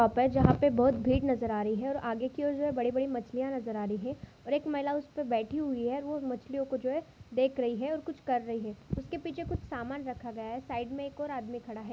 पप है जहा पे बहोत भीड़ नजर आ रही है और आगेकी और जे बड़ी-बड़ी मछलिया नजर आ रही है और एक महिला उसपे बैठी हुई है औ मछलियों को जोहे देख रही है और कुछ कर रही है उसके पीछे कुछ सामान रखा गया है साइड मैं एक और आदमी खड़ा हैं।